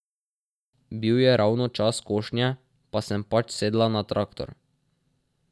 Bil je ravno čas košnje, pa sem pač sedla na traktor.